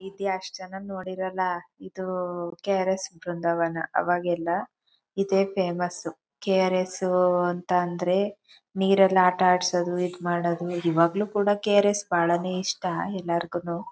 ಇಲ್ಲಿ ಅಷ್ಟು ಜನ ನೋಡಿರಲ್ಲ ಇದು ಕೆ_ ಆರ್_ ಎಸ್ ಬೃಂದಾವನ ಅವಾಗೆಲ್ಲ ಇದೇ ಫೇಮಸ್ಸು ಕೆ ಆರ್ ಎಸ್ ಅಂತ ಅಂದ್ರೆ ನೀರಲ್ಲಿ ಆಟ ಆಡ್ಸದು ಮಾಡೋದು ಇವಾಗ್ಲು ಕೂಡ ಕೆ_ಆರ್_ ಎಸ್ ಬಾಳೆ ಇಷ್ಟ ಎಲ್ಲರಿಗೂ.